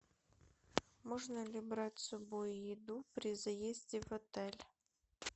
можно ли брать с собой еду при заезде в отель